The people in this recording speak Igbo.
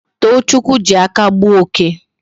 Tochukwu ji aka gbuo oke